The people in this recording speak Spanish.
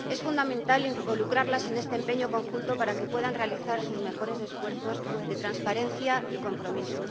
Es fundamental involucrarlas en este empeño conjunto para que puedan realizar sus mejores esfuerzos de transparencia y compromiso.